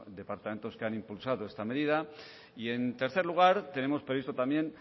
departamentos que han impulsado esta medida y en tercer lugar tenemos previsto también